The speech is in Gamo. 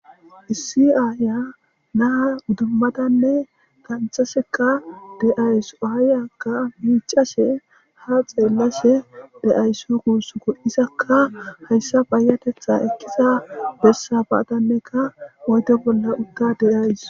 Issi aya na idimadanne dhaniththashekka deawusi ayiyakka miccashshe ha xelashshe deawusu gusukkoka izakka hayisa payateththa ekiza besani badannekka oyide bola utada deawusi